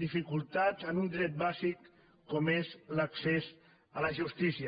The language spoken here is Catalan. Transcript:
dificultats en un dret bàsic com és l’accés a la justícia